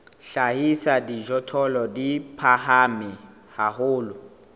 hlahisa dijothollo di phahame haholo